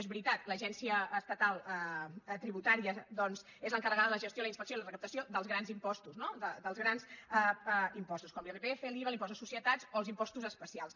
és veritat l’agència es·tatal tributària doncs és l’encarregada de la gestió la inspecció i la recaptació dels grans impostos no dels grans impostos com l’irpf l’iva l’impost de socie·tats o els impostos especials